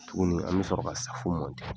Tuguni an bɛ sɔrɔ ka safo